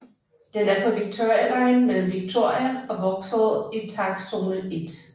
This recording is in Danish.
Den er på Victoria line mellem Victoria og Vauxhall i takstzone 1